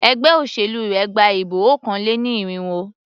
Ẹgbé òṣèlú rẹ gba ìbọ̀ okòó-lé-ní-irínwó.